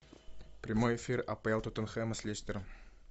прямой эфир апл тоттенхэма с лестером